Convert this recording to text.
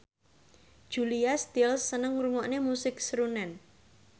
Julia Stiles seneng ngrungokne musik srunen